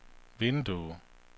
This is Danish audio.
vindue